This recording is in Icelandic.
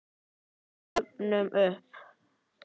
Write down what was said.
Við dofnum upp.